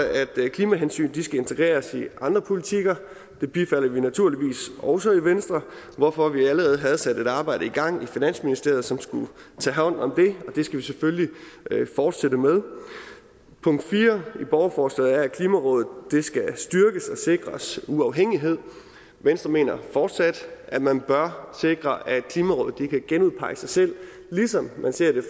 klimahensyn skal integreres i andre politikker det bifalder vi naturligvis også i venstre hvorfor vi allerede havde sat et arbejde i gang i finansministeriet som skulle tage hånd om det og det skal vi selvfølgelig fortsætte med punkt fire i borgerforslaget er at klimarådet skal styrkes og sikres uafhængighed venstre mener fortsat at man bør sikre at klimarådet kan genudpege sig selv ligesom man ser det